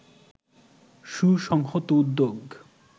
সুসংহত উদ্যোগ